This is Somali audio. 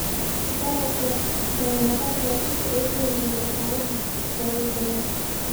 Dalagga ayaa noqon kara isha ugu weyn ee dhaqaalaha dalal badan.